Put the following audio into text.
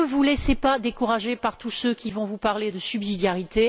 Ne vous laissez pas décourager par tous ceux qui vont vous parler de subsidiarité.